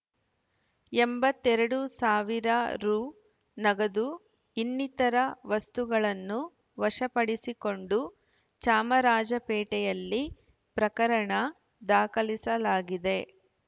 ಎಂಬತ್ತೆರಡು ಸಾವಿರ ರೂ ನಗದು ಇನ್ನಿತರ ವಸ್ತುಗಳನ್ನು ವಶಪಡಿಸಿಕೊಂಡು ಚಾಮರಾಜಪೇಟೆಯಲ್ಲಿ ಪ್ರಕರಣ ದಾಖಲಿಸಲಾಗಿದೆ